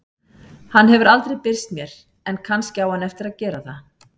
Hann hefur aldrei birst mér en kannski á hann eftir að gera það.